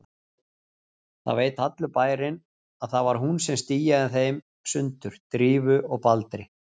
Það veit allur bærinn að það var hún sem stíaði þeim sundur, Drífu og Baldri.